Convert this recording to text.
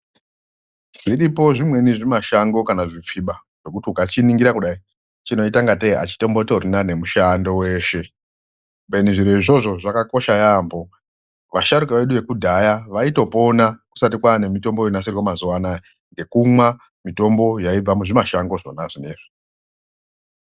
Zviripo zvimweni zvimashango kana zvipfiba zvekuti ukachiningira kudai chinoita ngatei hachitombotorina nemushando weshe. Kubeni zviro izvozvo zvakakosha yaambo. Vasharukwa vedu vekudhaya vaitopona kusati kwaa nemitombo yonasirwa mazuva vaya, nekumwa mutombo yaibva muzvimashango zvona izvozvo.